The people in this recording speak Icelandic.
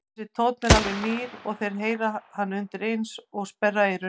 Þessi tónn er alveg nýr og þeir heyra hann undireins og sperra eyrun.